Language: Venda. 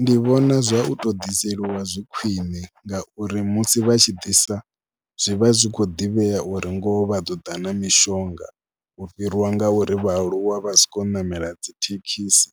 Ndi vhona zwa u tou ḓiseliwa zwi khwine ngauri musi vha tshi ḓisa zwi vha zwi khou ḓivhea uri ngoho vha ḓo ḓa na mishonga u fhiriwa ngauri vhaaluwa vha sokou ṋamela dzi thekhisi